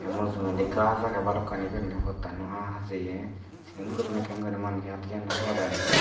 ei mujungedi gaaj aagay balokkani guriney pottano ahajeye sigon guriney ekkan guri manjey adi janye pot aagay.